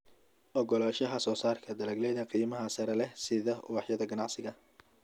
Oggolaanshaha soosaarka dalagyada qiimaha sare leh sida ubaxyada ganacsiga.